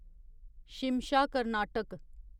Shimsha Karnataka